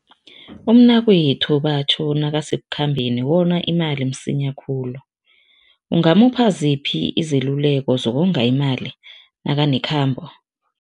Umnakwethu batjho nakasekukhambeni wona imali msinya khulu. Ungamupha ziphi izeluleko zokonga imali nakanekhambo?